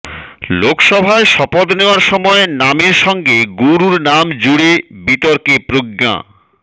লোকসভায় শপথ নেওয়ার সময় নামের সঙ্গে গুরুর নাম জুড়ে বিতর্কে প্রজ্ঞা